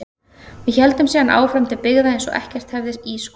Við héldum síðan áfram til byggða eins og ekkert hefði í skorist.